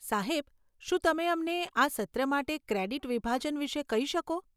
સાહેબ, શું તમે અમને આ સત્ર માટે ક્રેડીટ વિભાજન વિશે કહી શકો?